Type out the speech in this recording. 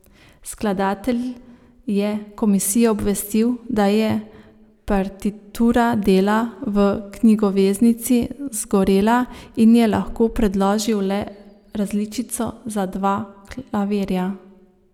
Skladatelj je komisijo obvestil, da je partitura dela v knjigoveznici zgorela in je lahko predložil le različico za dva klavirja.